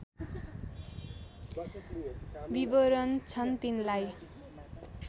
विवरण छन् तिनलाई